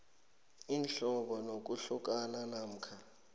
imihlobo yokuhlukana namkha